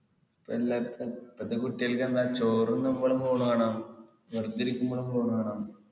ഇപ്പൊ എല്ലായിടത്തും ഇപ്പത്തെ കുട്ടികൾക്കെന്താ ചോറ് തിന്നുമ്പോളും phone വേണം വെറുതെ ഇരിക്കുമ്പോളും phone വേണം